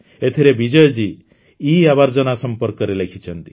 ଏଥିରେ ବିଜୟ ଜି ଇଆବର୍ଜନା ସମ୍ପର୍କରେ ଲେଖିଛନ୍ତି